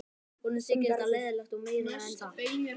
Honum þyki þetta leiðinlegt og meira en það.